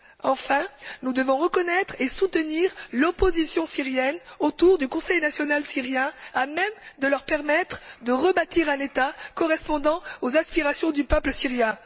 Enfin, nous devons reconnaître et soutenir l'opposition syrienne autour du Conseil national syrien, afin de leur permettre de rebâtir un État correspondant aux aspirations du peuple syrien.